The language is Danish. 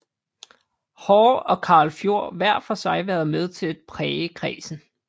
Haahr og Karl Fjord hver for sig været med til at præge kredsen